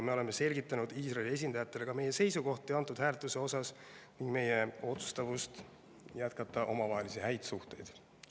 Me oleme ka selgitanud Iisraeli esindajatele meie seisukohti selle hääletuse puhul ning meie otsustavust jätkata omavahelisi häid suhteid.